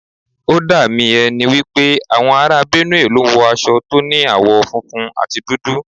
Ó dà mí ẹ ni wípé àwọn ará Benue ló ń wo aṣọ tó ní àwọ̀ funfun àti dúdú.